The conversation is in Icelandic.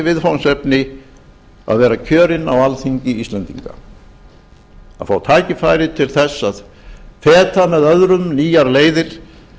viðfangsefni að vera kjörinn á alþingi íslendinga að fá tækifæri til að feta með öðrum nýjar leiðir